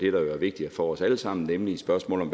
er vigtigt for os alle sammen nemlig spørgsmålet